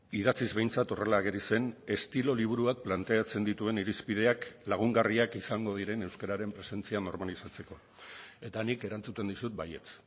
idatziz behintzat horrela ageri zen estilo liburuak planteatzen dituen irizpideak lagungarriak izango diren euskararen presentzia normalizatzeko eta nik erantzuten dizut baietz